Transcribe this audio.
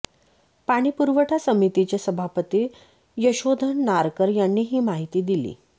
पाणी पुरवठा समितीचे सभापती यशोधन नारकर यांनी ही माहिती दिली